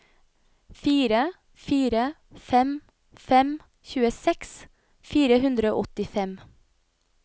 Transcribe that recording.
fire fire fem fem tjueseks fire hundre og åttifem